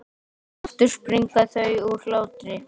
Aftur springa þau úr hlátri.